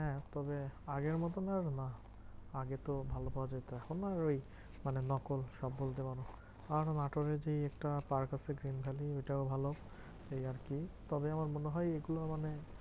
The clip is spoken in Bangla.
হ্যাঁ তবে আগের মতন আর না। আগে তো ভালো পাওয়া যেত এখন আর ওই মানে নকল সব বলতে পারো। কারণ নাটোরের যে একটা পার্ক আছে ওটাও ভালো, এই আর কি? তবে আমার মনে হয় এগুলো মানে